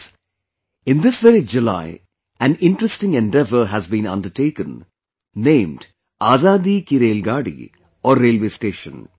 Friends, in this very July an interesting endeavour has been undertaken, named Azadi Ki Railgadi Aur Railway Station